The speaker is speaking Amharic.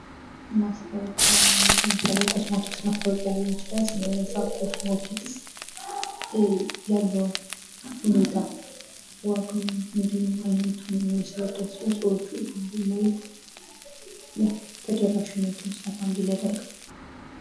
ማስታወቂያ ለምሳሌ የኮስሞቲክስ ማስታአወቂያ ሊሆን ይችላል ስለዛ ኮስሞቲክስ ያለውን ሁኔታ ዋጋውን እንዲሁም አይነቱን ማስረዳት ሲሆን ሰዎቹ ያን በማየት ተደራሽነቱ ሰፋ እንዲል ያደርጋል።